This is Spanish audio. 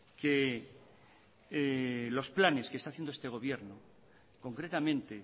que los planes que está haciendo este gobierno concretamente